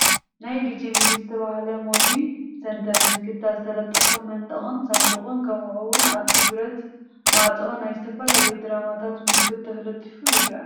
ናይ ዲጄ ሚሊ ዝተብሃለ ሞቪ ሰንተር ምልክታ ዝተለጠፎ መንደቅን ሳንዱቅ ከምኡ እውን ኣብቲ ብረት ማዕፆ ናይ ዝተፈላለየ ድራማታት ምልክታ ተለጢፋ ይርአ፡፡